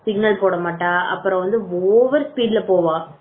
signal போட மாட்டான் அப்புறம் வந்து ஓவர் ஸ்பீட்ல போவான்